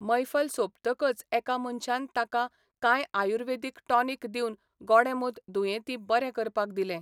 मैफल सोंपतकच एका मनशान ताका कांय आयुर्वेदीक टॉनिक दिवन गोडेंमूत दुयेंती बरे करपाक दिलें.